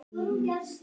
Sem við og gerðum.